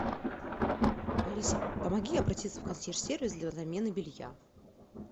алиса помоги обратиться в консьерж сервис для замены белья